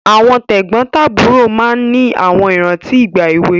Àwọn tẹ̀gbọ́ntàbúrò máa ń ní àwọn ìrántí ìgbà èwe